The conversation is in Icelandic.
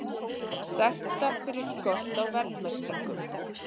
Sektar fyrir skort á verðmerkingum